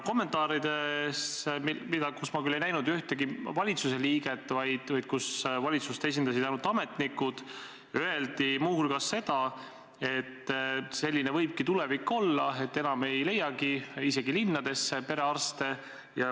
Kommentaarides – ma küll ei näinud kommenteerimas ühtegi valitsuse liiget, vaid valitsust esindasid ainult ametnikud – öeldi muu hulgas seda, et selline võibki tulevik olla, et enam ei leitagi isegi linnadesse perearste.